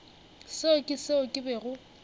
seo ke seo ke bego